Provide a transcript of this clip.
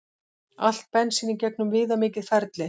Allt bensín í gegnum viðamikið ferli